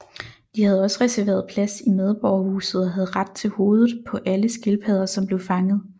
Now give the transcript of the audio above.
De havde også reserveret plads i medborgerhuset og havde ret til hovedet på alle skildpadder som blev fanget